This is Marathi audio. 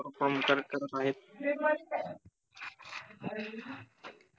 perform तर करत आहेत